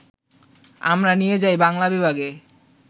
আমরা নিয়ে যাই বাংলা বিভাগে